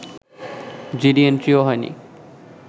GD এন্ট্রিও হয়নি